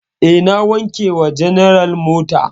E, na wanke wa general mota.